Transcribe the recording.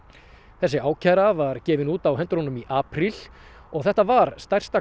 þessi ákæra var gefin út á hendur honum í apríl og þetta var stærsta